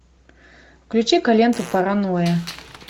включи ка ленту паранойя